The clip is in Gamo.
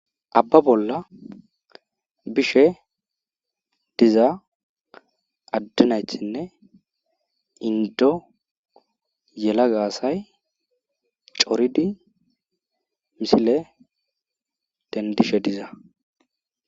Abba bolla bishe diza adde naytinne inddo yelaga asay coridi misile dentishe diza.